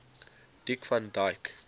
dick van dyke